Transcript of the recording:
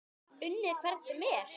Unnið hvern sem er?